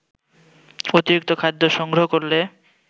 অতিরিক্ত খাদ্য সংগ্রহ করলে